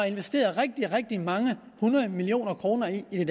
investeret rigtig rigtig mange hundrede millioner kroner i